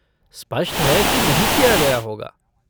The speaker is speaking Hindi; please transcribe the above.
स्पष्ट है कि नहीं किया गया होगा।